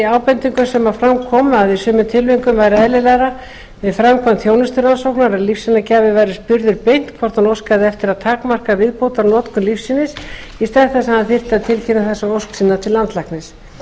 ábendingu sem fram kom um að í sumum tilvikum væri eðlilegra við framkvæmd þjónusturannsóknar að lífsýnagjafi væri spurður beint hvort hann óskaði eftir að takmarka viðbótarnotkun lífsýnis í stað þess að hann þyrfti að tilkynna þessa ósk sína til landlæknis